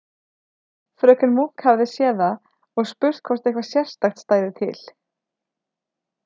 Fröken Munk hafði séð það og spurt hvort eitthvað sérstakt stæði til.